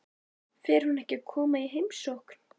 Fer hún ekki að koma í heimsókn?